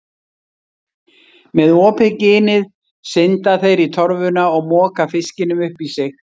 Með opið ginið synda þeir í torfuna og moka fiskinum upp í sig.